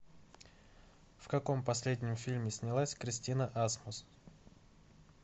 в каком последнем фильме снялась кристина асмус